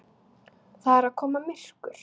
Það er að koma myrkur.